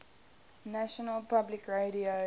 national public radio